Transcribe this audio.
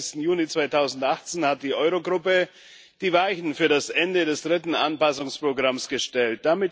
22. Juni 2018 hat die Euro Gruppe die Weichen für das Ende des dritten Anpassungsprogramms gestellt.